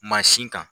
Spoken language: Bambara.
Mansin kan